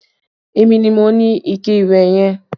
Èmi ni mo ni ikẹ ìwẹ̀ yẹn